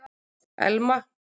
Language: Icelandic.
Elma